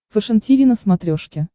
фэшен тиви на смотрешке